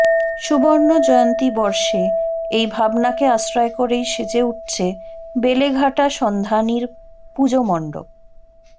সুবর্ণজয়ন্তী বর্ষে এই ভাবনাকে আশ্রয় করেই সেজে উঠছে বেলেঘাটা সন্ধানীর পুজোমণ্ডপ